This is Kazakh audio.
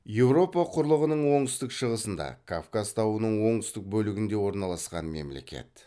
еуропа құрлығының оңтүстік шығысында кавказ тауының оңтүстік бөлігінде орналасқан мемлекет